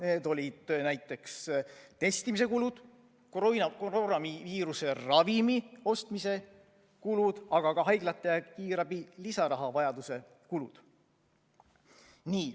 Need olid näiteks testimise kulud, koroonaviiruse ravimi ostmise kulud, aga ka haiglate ja kiirabi lisarahavajaduse kulud.